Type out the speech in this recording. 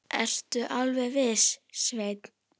Ertu alveg viss, Svenni?